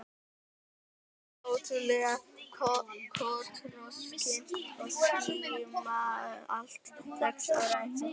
Smávaxin og ótrú- lega kotroskin og skýrmælt, sex ára eins og hún.